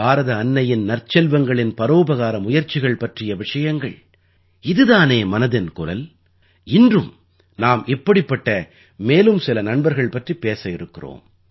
பாரத அன்னையின் நற்செல்வங்களின் பரோபகார முயற்சிகள் பற்றிய விஷயங்கள் இது தானே மனதின் குரல் இன்றும் நாம் இப்படிப்பட்ட மேலும் சில நண்பர்கள் பற்றி பேச இருக்கிறோம்